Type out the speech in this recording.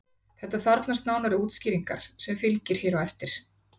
Þetta þarfnast nánari útskýringar sem fylgir hér á eftir.